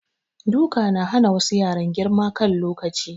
Duka na hana wassu yaran girma a kan lokaci